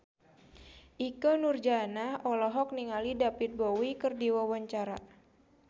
Ikke Nurjanah olohok ningali David Bowie keur diwawancara